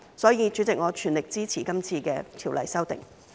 所以，主席，我全力支持今次的《條例草案》。